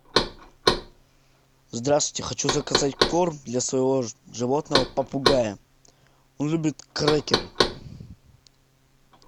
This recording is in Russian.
здравствуйте хочу заказать корм для своего животного попугая он любит крекеры